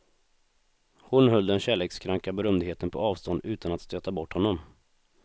Hon höll den kärlekskranka berömdheten på avstånd utan att stöta bort honom.